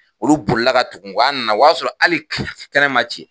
Olu bolila ka tugu n kɔ an nana o y'a sɔrɔ ali kala fɛ kɛnɛ ma ci